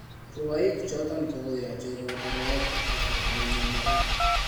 Rwoik choton kokoyoche koboto rwaet tab Afrika nenome ra.